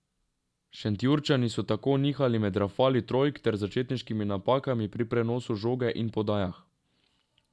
Šentjurčani so tako nihali med rafali trojk ter začetniškimi napakami pri prenosu žoge in podajah.